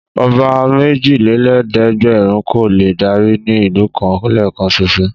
Ọba méjelélẹ́ẹ̀dẹ́gbẹ̀rún kò lè dárí ní ìlú kan lẹ́ẹ̀kan ṣoṣo.